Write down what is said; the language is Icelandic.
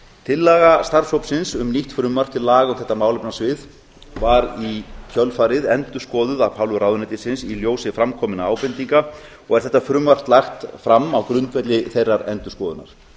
tillaga starfshópsins um nýtt frumvarp til laga um þetta málefnasvið var í kjölfarið endurskoðuð af hálfu ráðuneytinu í ljósi fram kominna á ábendinga og er þetta frumvarp lagt fram á grundvelli þeirrar endurskoðunar